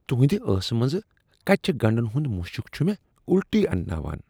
تُہندِ ٲسہٕ منٛز کچہٕ گنڈن ہند مشُک چھ مےٚ اُلٹی انناوان۔